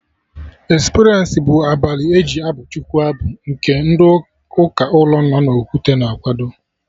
Experience bụ abalị eji abụ Chukwu abụ nke ndị ụka ụlọ no na Okwute na akwado